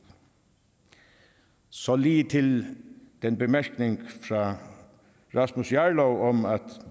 så lige til den bemærkning fra rasmus jarlov om at